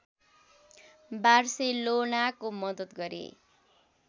बार्सेलोनाको मदत गरे